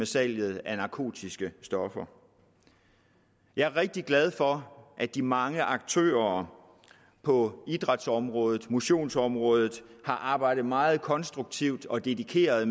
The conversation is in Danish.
salget af narkotiske stoffer jeg er rigtig glad for at de mange aktører på idrætsområdet motionsområdet har arbejdet meget konstruktivt og dedikeret